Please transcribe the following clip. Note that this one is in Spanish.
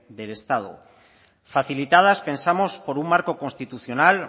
del estado facilitadas pensamos por un marco constitucional